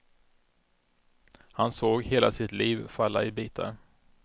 Han såg hela sitt liv falla i bitar.